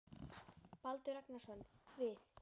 Baldur Ragnarsson: Við?